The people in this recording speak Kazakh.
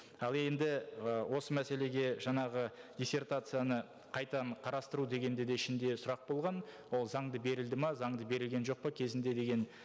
ал енді ы осы мәселеге жаңағы диссертацияны қайтадан қарастыру деген де де ішінде сұрақ болған ол заңды берілді ме заңды берілген жоқ па кезінде деген